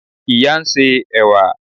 ìyá n se ẹwà